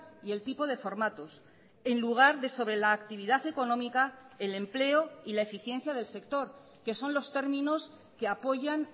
y el tipo de formatos en lugar de sobre la actividad económica el empleo y la eficiencia del sector que son los términos que apoyan